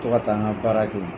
To ka taa n na baara